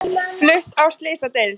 Flutt á slysadeild